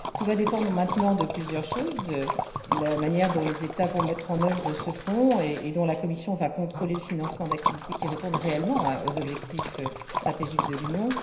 Tout va dépendre maintenant de plusieurs choses la manière dont les États vont mettre en œuvre ce fonds et dont la Commission va contrôler le financement des activités qui répondent réellement aux objectifs stratégiques de l'Union.